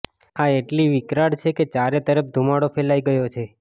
આ એટલી વિકરાળ છે કે ચારે તરફ ધૂમાડો ફેલાઈ ગયો છે